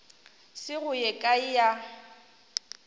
se go ye kae ya